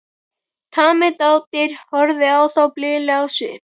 Tamið dádýr horfði á þá blíðlegt á svip.